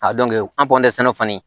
A an sɛnɛ kɔni